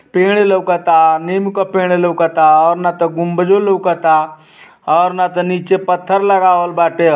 पेड़ लोकता नीम का पेड़ लोकता और ना त गुंबजो लोकता और नातों नीचे पत्थर लगावल बाटे।